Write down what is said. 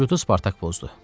Sükutu Spartak pozdu.